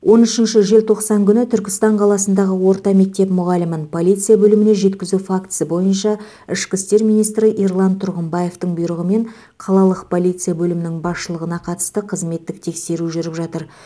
он үшінші желтоқсан күні түркістан қаласындағы орта мектеп мұғалімін полиция бөліміне жеткізу фактісі бойынша ішкі істер министрі ерлан тұрғымбаевтың бұйрығымен қалалық полиция бөлімінің басшылығына қатысты қызметтік тексеру жүріп жатыр